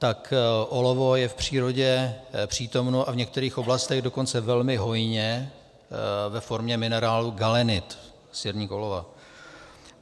Tak olovo je v přírodě přítomno, a v některých oblastech dokonce velmi hojně, ve formě minerálu galenit - sirník olova.